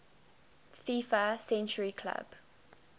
fifa century club